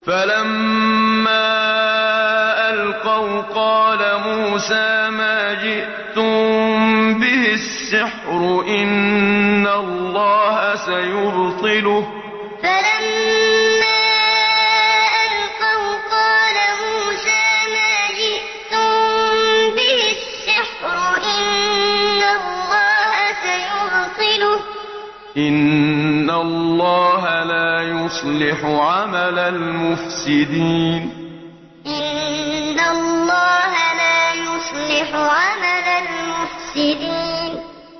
فَلَمَّا أَلْقَوْا قَالَ مُوسَىٰ مَا جِئْتُم بِهِ السِّحْرُ ۖ إِنَّ اللَّهَ سَيُبْطِلُهُ ۖ إِنَّ اللَّهَ لَا يُصْلِحُ عَمَلَ الْمُفْسِدِينَ فَلَمَّا أَلْقَوْا قَالَ مُوسَىٰ مَا جِئْتُم بِهِ السِّحْرُ ۖ إِنَّ اللَّهَ سَيُبْطِلُهُ ۖ إِنَّ اللَّهَ لَا يُصْلِحُ عَمَلَ الْمُفْسِدِينَ